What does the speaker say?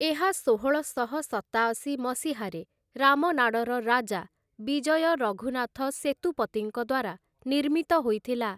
ଏହା ଷୋହଳଶହ ସତାଅଶୀ ମସିହାରେ ରାମନାଡ଼ର ରାଜା ବିଜୟ ରଘୁନାଥ ସେତୁପତିଙ୍କ ଦ୍ୱାରା ନିର୍ମିତ ହୋଇଥିଲା ।